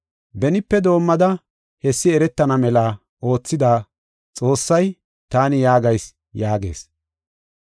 Benipe doomada hessi eretana mela oothida Xoossay, taani yaagayis’ yaagees.